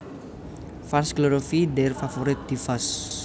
Fans glorify their favorite divas